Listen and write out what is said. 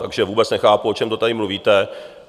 Takže vůbec nechápu, o čem to tady mluvíte.